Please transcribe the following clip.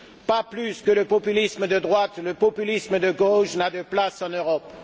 Pas plus que le populisme de droite, le populisme de gauche n'a de place en Europe.